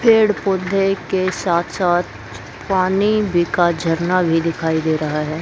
पेड़ पौधे के साथ साथ पानी भी का झरना भी दिखाई दे रहा है।